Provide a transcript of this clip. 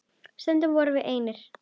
Stundum vorum við einir.